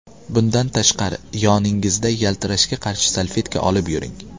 Bundan tashqari, yoningizda yaltirashga qarshi salfetka olib yuring.